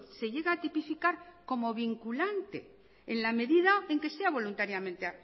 se llega a tipificar como vinculante en la medida en que sea voluntariamente